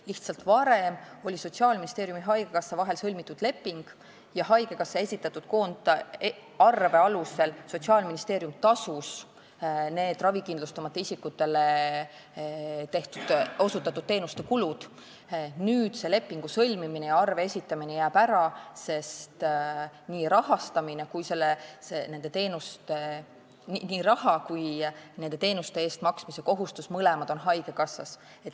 Lihtsalt varem oli Sotsiaalministeeriumi ja haigekassa vahel sõlmitud leping ja haigekassa esitatud koondarve alusel tasus Sotsiaalministeerium ravikindlustamata isikutele osutatud teenuste kulud, nüüd jääb lepingu sõlmimine ja arve esitamine ära, sest raha on haigekassas ja ka teenuste eest maksmise kohustus on temal.